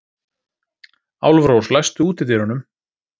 Álfrós, læstu útidyrunum.